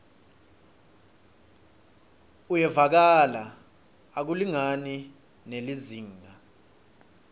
uyevakala akulingani nelizingaa